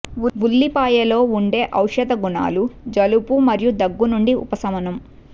ఉల్లిపాయలో ఉండే ఔషధ గుణాలు జలుబు మరియు దగ్గు నుండి ఉపశమనం